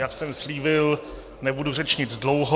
Jak jsem slíbil, nebudu řečnit dlouho.